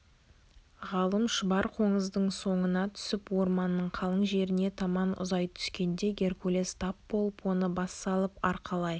ғалым шұбар қоңыздың соңына түсіп орманның қалың жеріне таман ұзай түскенде геркулес тап болып оны бас салып арқалай